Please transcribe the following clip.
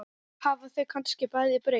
Hafa þau kannski bæði breyst?